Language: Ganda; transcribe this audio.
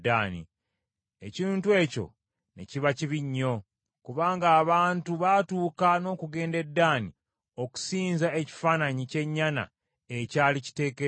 Ekintu ekyo ne kiba kibi nnyo, kubanga abantu baatuuka n’okugenda e Ddaani okusinza ekifaananyi ky’ennyana ekyali kiteekeddwa eyo.